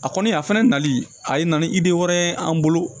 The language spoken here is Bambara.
A kɔni a fɛnɛ nali a ye na ni wɛrɛ ye an bolo